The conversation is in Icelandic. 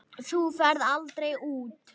Þú ferð aldrei út.